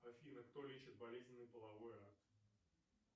афина кто лечит болезненный половой акт